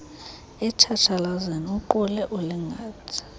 etshatshalazeni uqule uligangathe